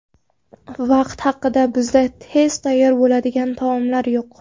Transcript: Vaqt haqida Bizda tez tayyor bo‘ladigan taomlar yo‘q.